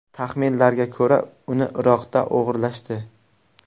Taxminlarga ko‘ra, uni Iroqda o‘g‘irlashdi.